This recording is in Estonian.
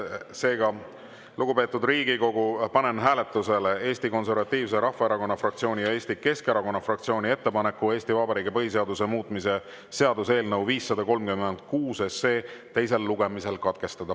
Seega, lugupeetud Riigikogu, panen hääletusele Eesti Konservatiivse Rahvaerakonna fraktsiooni ja Eesti Keskerakonna fraktsiooni ettepaneku Eesti Vabariigi põhiseaduse muutmise seaduse eelnõu 536 teine lugemine katkestada.